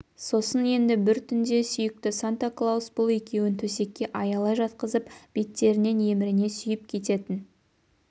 сосын енді бір түнде сүйікті санта-клаус бұл екеуін төсекке аялай жатқызып беттерінен емірне сүйіп кететін